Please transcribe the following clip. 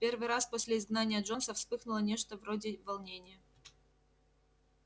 в первый раз после изгнания джонса вспыхнуло нечто вроде волнения